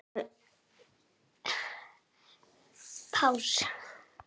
Fjögur tilboð bárust.